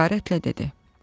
Həqarətlə dedi: